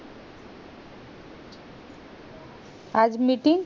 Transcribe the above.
आज meeting